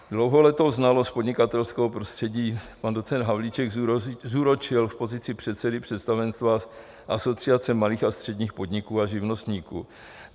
Dlouholetou znalost podnikatelského prostředí pan docent Havlíček zúročil v pozici předsedy představenstva Asociace malých a středních podniků a živnostníků.